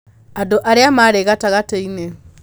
Andũ arĩa maarĩ gatagatĩ-inĩ.